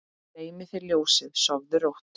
Dreymi þig ljósið, sofðu rótt